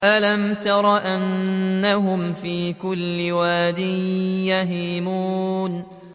أَلَمْ تَرَ أَنَّهُمْ فِي كُلِّ وَادٍ يَهِيمُونَ